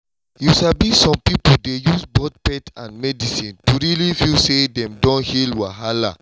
you sabi some pipo dey use both faith and medicine to really feel say dem don heal wahala